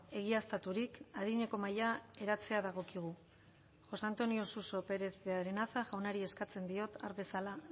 egiaztaturik adineko mahaia eratzea dagokigu josé antonio suso pérez de arenaza jaunari eskatzen diot har dezala